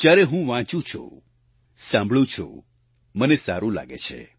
જ્યારે હું વાંચું છું સાંભળુ છું મને સારું લાગે છે